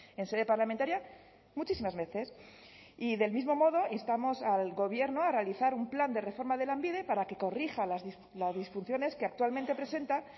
en sede parlamentaria muchísimas veces y del mismo modo instamos al gobierno a realizar un plan de reforma de lanbide para que corrija las disfunciones que actualmente presenta